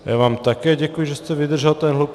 Já vám také děkuji, že jste vydržel ten hluk.